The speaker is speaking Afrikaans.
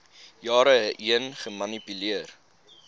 jare heen gemanipuleer